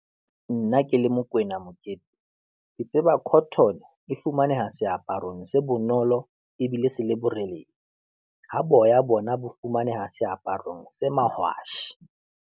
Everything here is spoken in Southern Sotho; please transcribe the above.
Nna ke le Mokoena Mokete, ke tseba cotton e fumaneha seaparong se bonolo ebile se le boreledi ha boya bona bo fumaneha seaparong se mahwasha.